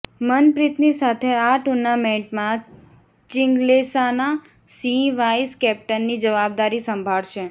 મનપ્રીતની સાથે આ ટૂર્નામેન્ટમાં ચિંગ્લેસાના સિંહ વાઇસ કેપ્ટનની જવાબદારી સંભાળશે